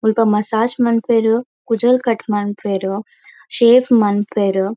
ಮುಲ್ಪ ಮಸಾಜ್ ಮನ್ಪುವೆರ್ ಕುಜಲ್ ಕಟ್ ಮನ್ಪುವೆರ್ ಶೇವ್ ಮನ್ಪುವೆರ್.